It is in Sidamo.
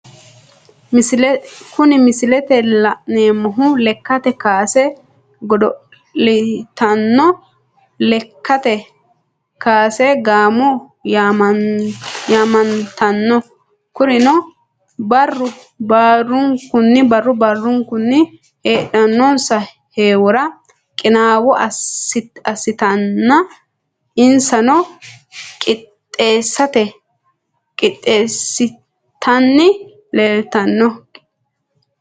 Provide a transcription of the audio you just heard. Kuni misilete la'neemohu, lekkate kaase godo'litanno lekkate kaase gaamo yamamanitano, kuriuno baru barunkuni heedhano'nsa heeworra qinaawo asitannina insaneeto qixxesitanni leeliitano